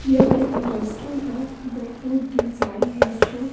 यह एक रेस्तराउं है द फूड डिजाइल रेस्तराउं --